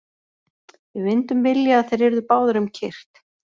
Við myndum vilja að þeir yrðu báðir um kyrrt.